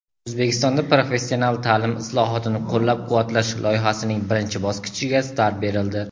"O‘zbekistonda professional ta’lim islohotini qo‘llab-quvvatlash" loyihasining birinchi bosqichiga start berildi.